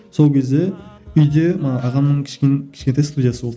сол кезде үйде мана ағамның кішкентай студиясы болды